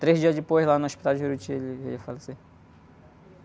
Três dias depois, lá no hospital de Juruti, ele veio a falecer.